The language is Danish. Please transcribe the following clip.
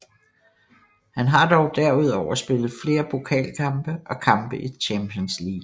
Han har dog derudover spillet flere pokalkampe og kampe i Champions League